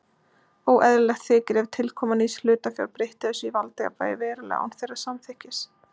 Óeðlilegt þykir ef tilkoma nýs hlutafjár breytti þessu valdajafnvægi verulega án þeirra samþykkis.